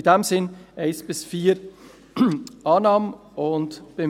In diesem Sinn: Punkte 1–4: Annahme;